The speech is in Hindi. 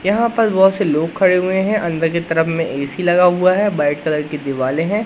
यहां पर बहुत से लोग खड़े हुए हैं अंदर की तरफ में ए_सी लगा हुआ है व्हाइट कलर की दीवालें हैं।